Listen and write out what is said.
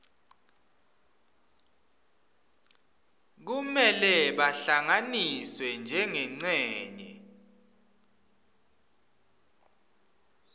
kumele bahlanganiswe njengencenye